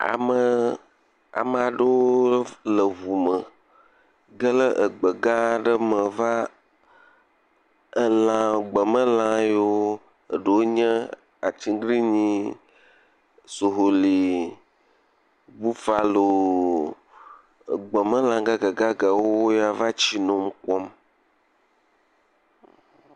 Amee, ame aɖewo le eŋu me ge le egbe gã aɖe me va, alã, gbemelã yiwo ɖewo nye atiglinyi, soholi, bufalo, gbemelã gagaga yi wo va tsi nom wokpɔm.